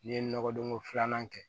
N'i ye nɔgɔdon ko filanan kɛ